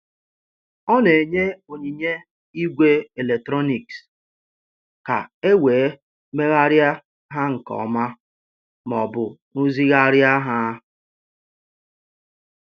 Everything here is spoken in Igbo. Ọ na-enye onyinye igwe eletrọnịks ka e wee megharịa ha nke ọma ma ọ bụ rụzigharịa ha.